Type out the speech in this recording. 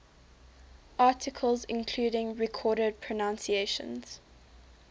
articles including recorded pronunciations